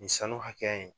Nin sanu hakɛya in